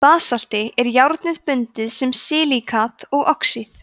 í basalti er járnið bundið sem silíkat og oxíð